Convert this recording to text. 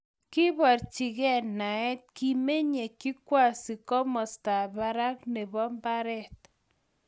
Kiborchikei naet. Kimenyei Kikwasi komostab barak nebo. Mbaret